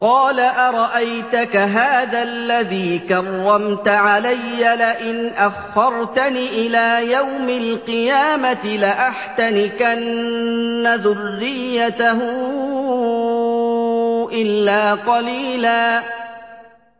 قَالَ أَرَأَيْتَكَ هَٰذَا الَّذِي كَرَّمْتَ عَلَيَّ لَئِنْ أَخَّرْتَنِ إِلَىٰ يَوْمِ الْقِيَامَةِ لَأَحْتَنِكَنَّ ذُرِّيَّتَهُ إِلَّا قَلِيلًا